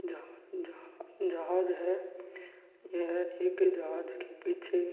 जहाँ जहाँ जहाज है यह एक जहाज के पीछे--